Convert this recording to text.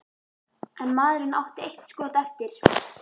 En maðurinn átti eitt skot eftir.